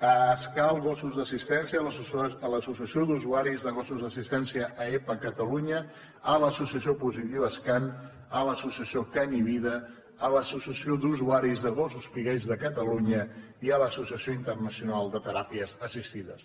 a áskal gossos d’assistència a l’associació d’usuaris de gossos d’assistència aepa catalunya a l’associació positivas can a l’associació can i vida a l’associació d’usuaris de gossos pigall de catalunya i a l’associació internacional de teràpies assistides